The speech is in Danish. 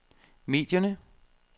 medierne